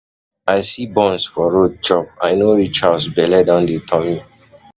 I see buns for road chop, I no reach house bele don dey turn me.